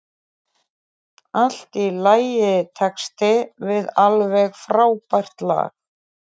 Allt í lagitexti við alveg frábært lag.